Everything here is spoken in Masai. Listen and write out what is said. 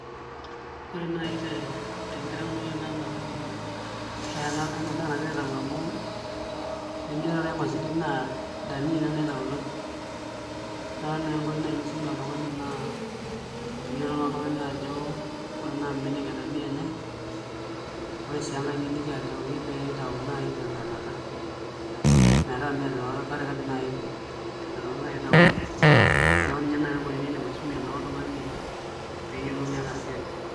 Ore nai tenkitaunoto naa ena toki ena daa nagirai aitau amu enijo aing'orr esidai naa dania ina naitautoi naa ore naai enkoitoi nisumie oltung'ani naa pee eyiolou naa oltung'ani ajo ebaiki naa mbenek edania enyai ore sii enkae niliki ajoki pee itauni naai tentanata metaa mee te katikati naai edung' , tentanata naai itauni neeku ina naa enkoitoi niidim aisumie naa oltung'ani pee eyiolou ena siai.